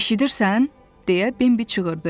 Eşidirsən, deyə Bembi çığırdı.